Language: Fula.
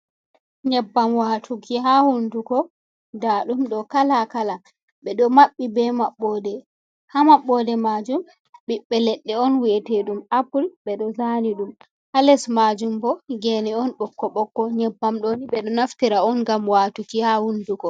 Nyebbam watuki ha hunduko, ndaɗum ɗo kala kala ɓe ɗo maɓɓi be maɓɓoode. Ha mabboode majum ɓiɓɓe leɗɗe on wi’ete dum apple. Ɓe ɗo zani ɗum, ha les majum bo geene on bokko bokko. Nyebbam ɗooni ɓe do naftira on ngam watuki ha hunduko.